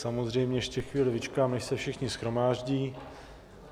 Samozřejmě ještě chvíli vyčkám, než se všichni shromáždí.